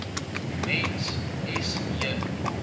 mens s j